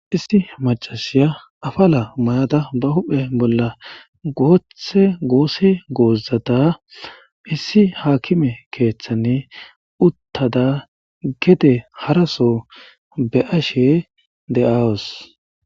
Issi macasiya afala mayada ba huphe bolla goothe goose goozata issi haakime keeththanne uttada gede haraso be ashe de'awus.